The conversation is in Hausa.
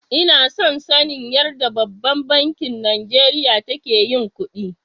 Ina son sanin yarɗa ɓabban banki Najeriya take yin kuɗi.